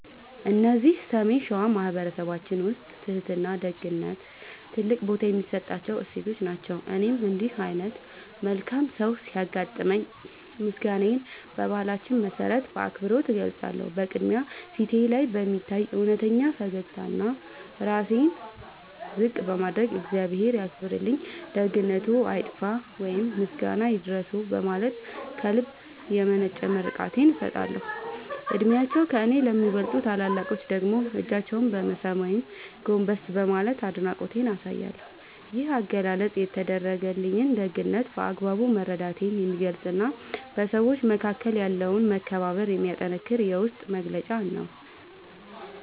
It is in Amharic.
እዚህ ሰሜን ሸዋ በማኅበረሰባችን ውስጥ ትሕትናና ደግነት ትልቅ ቦታ የሚሰጣቸው እሴቶች ናቸው። እኔም እንዲህ ዓይነት መልካም ሰው ሲያጋጥመኝ ምስጋናዬን በባህላችን መሠረት በአክብሮት እገልጻለሁ። በቅድሚያ፣ ፊቴ ላይ በሚታይ እውነተኛ ፈገግታና ራሴን ዝቅ በማድረግ "እግዚአብሔር ያክብርልኝ፣ ደግነትዎ አይጥፋ" ወይም "ምስጋና ይድረስዎ" በማለት ከልብ የመነጨ ምርቃቴን እሰጣለሁ። ዕድሜያቸው ከእኔ ለሚበልጡ ታላላቆች ደግሞ እጃቸውን በመሳም ወይም ጎንበስ በማለት አድናቆቴን አሳያለሁ። ይህ አገላለጽ የተደረገልኝን ደግነት በአግባቡ መረዳቴን የሚገልጽና በሰዎች መካከል ያለውን መከባበር የሚያጠነክር የውስጤ መግለጫ ነው።